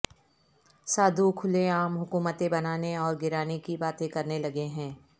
سادھو کھلے عام حکومتیں بنانے اور گرانے کی باتیں کرنے لگے ہیں